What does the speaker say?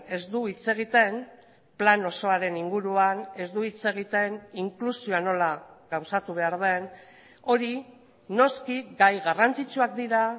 ez du hitz egiten plan osoaren inguruan ez du hitz egiten inklusioa nola gauzatu behar den hori noski gai garrantzitsuak dira